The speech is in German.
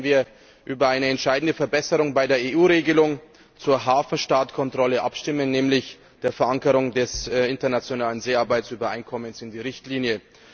Morgen werden wir über eine entscheidende Verbesserung bei der EU Regelung zur Hafenstaatkontrolle abstimmen, nämlich die Verankerung des Internationalen Seearbeitsübereinkommens in der Richtlinie.